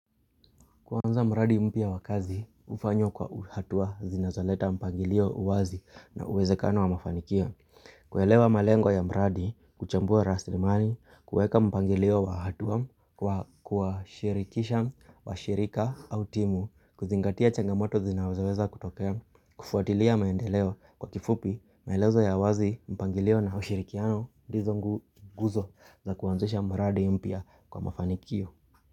Kwaanza mraadi mpya wakazi, ufanyo kwa uhatua zinazoleta mpangilio uwazi na uwezekano wa mafanikia. Kuelewa malengwa ya mraadi, kuchambua raslimani, kueka mpangilio wa hatua, kwa shirikisha wa shirika au timu, kuzingatia changamoto zinawezaweza kutokea, kufuatilia maendeleo kwa kifupi, maelezo ya wazi mpangilio na ushirikiano, di zongu guzo za kuanzusha mraadi mpya kwa mafanikio.